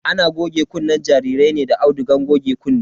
Ana goge kunnen jarirai ne da audugan goge kunne.